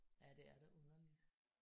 Ja det er da underligt